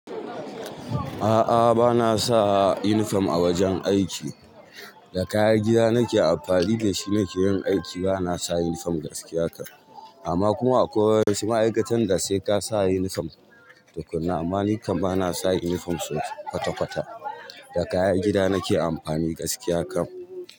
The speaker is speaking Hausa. A'a, ba na sa uniform a wajen aiki. Da kayan gida nake amfani da shi nake yin aiki, ba na sa uniform gaskiya kam. Amma kuma akwai wasu ma'aikatan da sai ka sa uniform tukuna, amma ni kam ba na sa uniform so kwata-kwata. Da kayan gida nake amfani gaskiya kam.